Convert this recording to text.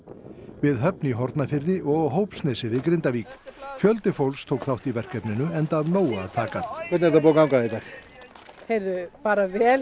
við Höfn í Hornafirði og á Hópsnesi við Grindavík fjöldi fólks tók þátt í verkefninu enda af nógu að taka hvernig er búið að ganga í dag bara vel